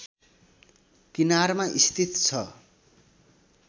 किनारमा स्थित छ